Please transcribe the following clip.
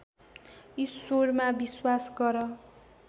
ईश्वरमा विश्वास गर